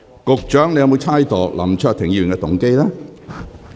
局長，你有否猜測林卓廷議員的動機？